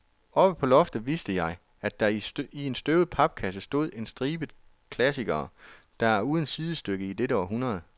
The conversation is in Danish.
Oppe på loftet vidste jeg, at der i en støvet papkasse stod en stribe klassikere, der er uden sidestykke i dette århundrede.